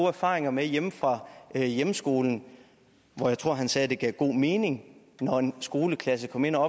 erfaringer med hjemme fra hjemskolen jeg tror han sagde at det gav god mening når en skoleklasse kom ind og